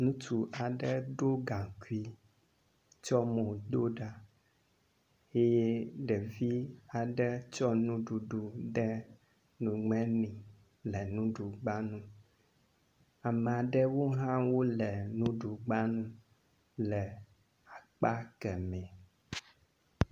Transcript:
Ŋutsu aɖe ɖo gaŋkui tsɔ mo do ɖa eye ɖevi aɖe tsɔ nuɖuɖu do ɖe nume nɛ le nuɖugba nu. ame aɖewo hã wo le nuɖugba nu le akpa kemɛ.